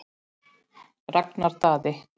Ragnar Daði.